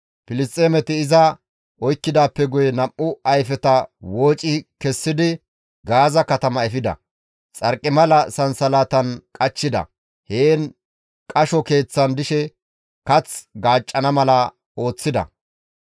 Filisxeemeti iza oykkidaappe guye nam7u ayfeta wooci kessidi Gaaza katama efida; xarqimala sansalatan iza qachchida; heen qasho keeththan dishe kath gaaccana mala ooththida.